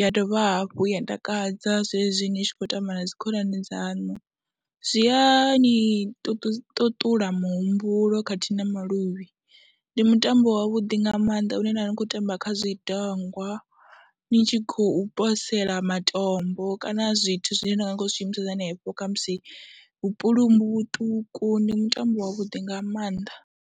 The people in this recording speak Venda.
ya dovha hafhu ya ntakadza zwezwi ni tshi khou tamba na dzi khonani dzaṋu, zwi ya ni ṱuṱula muhumbulo khathihi na maluvhi. Ndi mutambo wavhuḓi nga maanḓa hune na vha ni khou tamba kha zwidangwa ni tshi khou posela matombo kana zwithu zwine na vha ni khou zwi shumisa henefho kha musi vhupulumbu vhuṱuku, ndi mutambo wavhuḓi nga maanḓa.